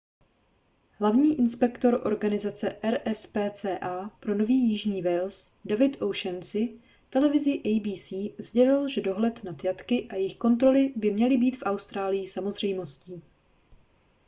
hlavní inspektor organizace rspca pro nový jižní wales david o'shannessy televizi abc sdělil že dohled nad jatky a jejich kontroly by měly být v austrálii samozřejmostí